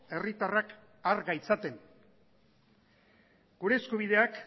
herritarrak har gaitzaten gure eskubideak